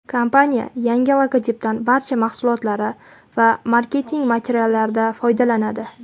Kompaniya yangi logotipdan barcha mahsulotlari va marketing materiallarida foydalanadi.